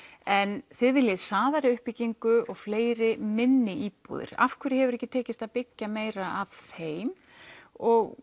en þið viljið hraðari uppbyggingu og fleiri minni íbúðir af hverju hefur ekki tekist að byggja meira af þeim og